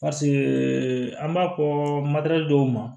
an b'a fɔ dɔw ma